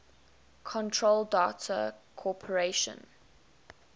control data corporation